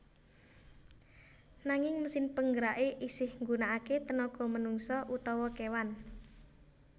Nanging mesin penggerake isih nggunakake tenaga manungsa utawa kewan